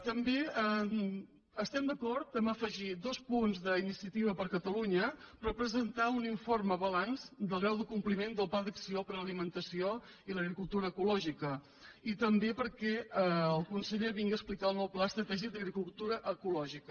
també estem d’acord a afegir dos punts d’iniciativa per catalunya per presentar un informe balanç del grau de compliment del pla d’acció per a l’alimentació i l’agricultura ecològica i també perquè el conseller vingui a explicar el nou pla estratègic d’agricultura ecològica